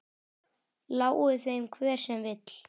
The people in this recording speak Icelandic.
Lái þeim hver sem vill.